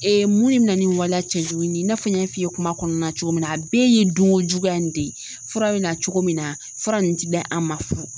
mun de bɛ na ni in waliya cɛjugu nin ye i n'a fɔ n y'a f'i ye kuma kɔnɔna na cogo min na, a bɛɛ ye dunko juguya in de ye, fura bɛ na cogo min na, fura ninnu ti di an ma fu